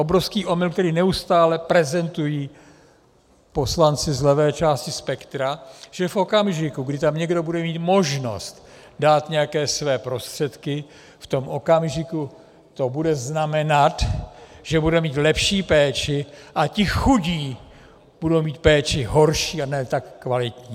Obrovský omyl, který neustále prezentují poslanci z levé části spektra, že v okamžiku, kdy tam někdo bude mít možnost dát nějaké své prostředky, v tom okamžiku to bude znamenat, že bude mít lepší péči a ti chudí budou mít péči horší a ne tak kvalitní.